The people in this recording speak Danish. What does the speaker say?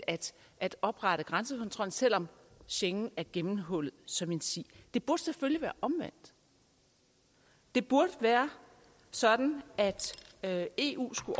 at oprette grænsekontrollen selv om schengen er gennemhullet som en si det burde selvfølgelig være omvendt det burde være sådan at eu skulle